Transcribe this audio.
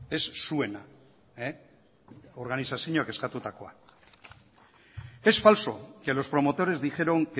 ez zuena organizazioak eskatutakoa es falso que los promotores dijeron